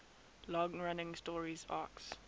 long running story arcs